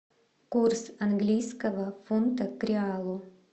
курс английского фунта к реалу